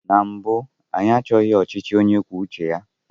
Na mbụ, anyị achọghị ọchịchị onye kwuo uche ya.